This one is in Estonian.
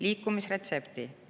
Liikumisretsepti.